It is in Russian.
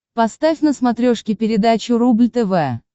поставь на смотрешке передачу рубль тв